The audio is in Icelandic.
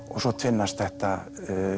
og svo tvinnast þetta